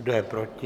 Kdo je proti?